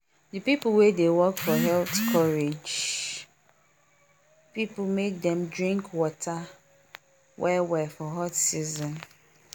the people wey dey work for health courage people make dem drink water well well for hot season